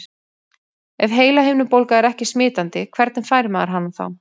Ef heilahimnubólga er ekki smitandi, hvernig fær maður hana þá?